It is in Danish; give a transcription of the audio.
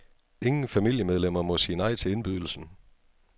Ingen familiemedlemmer må sige nej til indbydelsen.